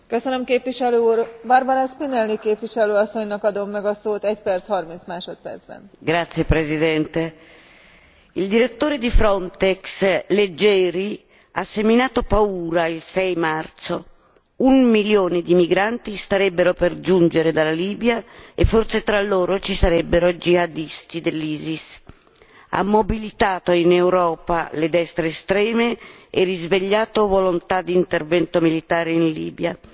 Signora Presidente, onorevoli colleghi, il direttore di Frontex, Leggeri, ha seminato paura il 6 marzo un milione di migranti starebbero per giungere dalla Libia e forse tra loro ci sarebbero jihadisti dell'ISIS. Ha mobilitato in Europa le destre estreme e risvegliato volontà di intervento militare in Libia.